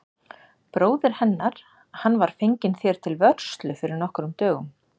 Bróðir hennar, hann var fenginn þér til vörslu fyrir nokkrum dögum.